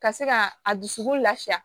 Ka se ka a dusukun lafiya